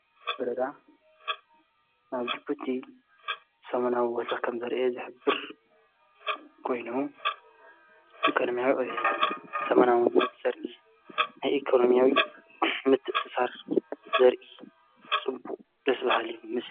ብረዳ ናብ ጅቡቲ ሰምናዊ ወሰኽ ከም ዘርአ ዘኅብር ጐይኖ ኢኮኖምያዊ ኦየት ሰመናውን ምፅር ናይኢኮኖምያዊ ምትእስሳር ዘርኢ ጽቡእ ደስቢሃል እዩ።